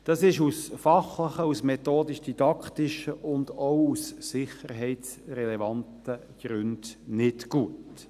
Dies ist aus fachlichen, aus methodisch-didaktischen und auch aus sicherheitsrelevanten Gründen nicht gut.